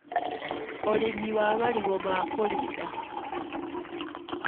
ũrĩmi wa marigũ ma kũrinda.